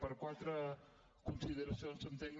per quatre consideracions entenc